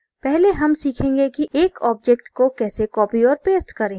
पहले हम सीखेंगे कि एक object को कैसे copy और paste करें